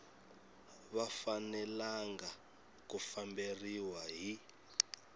va fanelanga ku famberiwa hi